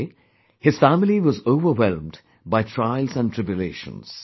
In a way, his family was overwhelmed by trials and tribulations